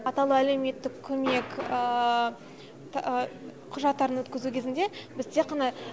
атаулы әлеуметтік көмек құжаттарын өткізу кезінде біз тек қана